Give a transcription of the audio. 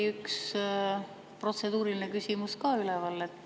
Üks protseduuriline küsimus on ka üleval.